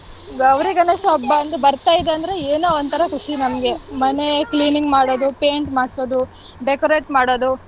ಗೌರಿ ಗಣೇಶ ಹಬ್ಬ ಅಂದ್ರೆ ಬರ್ತಾ ಇದೆ ಅಂದ್ರೆ ಏನೋ ಒಂತರ ಖುಷಿ ನಮ್ಗೆ. ಮನೆ cleaning ಮಾಡೋದು paint ಮಾಡ್ಸೋದು decorate ಮಾಡೋದು.